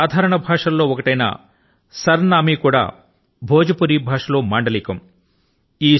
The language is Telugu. అక్కడి సాధారణ భాషల లో ఒకటైన సర్ నామీ కూడా భోజ్పురి భాష లో మాండలికం